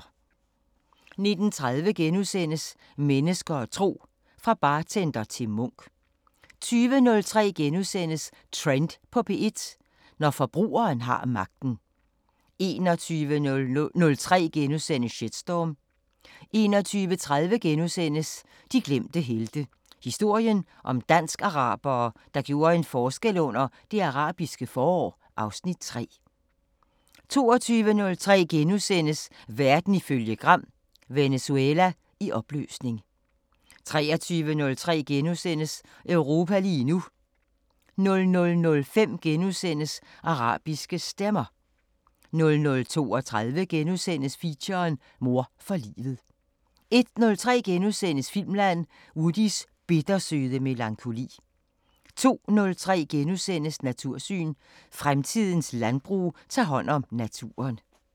19:30: Mennesker og tro: Fra bartender til munk * 20:03: Trend på P1 – Når forbrugeren har magten * 21:03: Shitstorm * 21:30: De glemte helte – historien om dansk-arabere, der gjorde en forskel under Det Arabiske forår (Afs. 3)* 22:03: Verden ifølge Gram: Venezuela i opløsning * 23:03: Europa lige nu * 00:05: Arabiske Stemmer * 00:32: Feature: Mor for livet * 01:03: Filmland: Woodys bittersøde melankoli * 02:03: Natursyn: Fremtidens landbrug tager hånd om naturen *